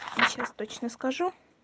сейчас точно скажу